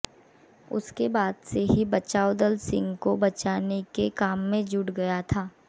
उसके बाद से ही बचाव दल सिंह को बचाने के काम में जुट गया था